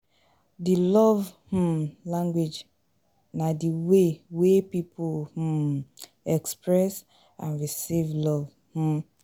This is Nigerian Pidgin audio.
di love um language na di way wey people um express and receive love.